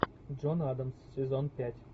джон адамс сезон пять